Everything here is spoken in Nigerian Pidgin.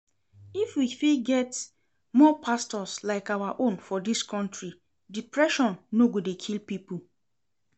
If we fit get more pastors like our own for dis country, depression no go dey kill people